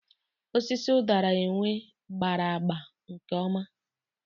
Osisi ụdara enwe gbara agba nkeoma.